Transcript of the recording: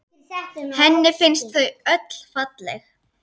Henni finnst þau öll falleg.